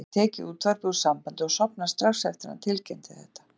Hann hafði tekið útvarpið úr sambandi og sofnað strax eftir að hann tilkynnti þetta.